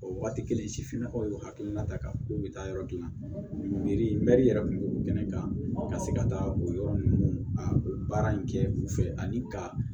O wagati kelen sifinnakaw y'o hakilina ta kan k'o bɛ taa yɔrɔ gilanni mɛri yɛrɛ kun bɛ kɛnɛ kan ka se ka taa o yɔrɔ ninnu a baara in kɛ u fɛ ani ka